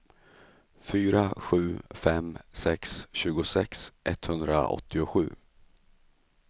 fyra sju fem sex tjugosex etthundraåttiosju